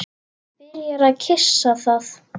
Byrjar að kyssa það.